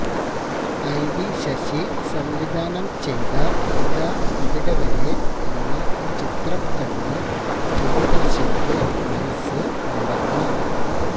IV Sasi സംവിധാനം ചെയ്ത ഇതാ ഇവിടെ വരെ എന്ന ചിത്രം കണ്ട് പ്രിയദര്ശന്റെ മനസ്സ് നിറഞ്ഞു